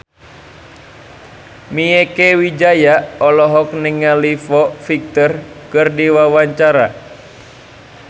Mieke Wijaya olohok ningali Foo Fighter keur diwawancara